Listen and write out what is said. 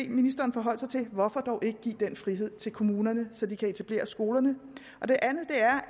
ministeren forholde sig til er hvorfor dog ikke give den frihed til kommunerne så de kan etablere skolerne og det andet er